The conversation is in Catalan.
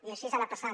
i així ha anat passant